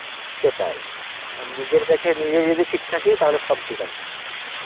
সেটাই, মানে নিজের কাছে নিজে যদি ঠিক থাকি তাহলে সব ঠিক আছে